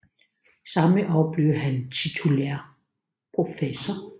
Samme år blev han titulær professor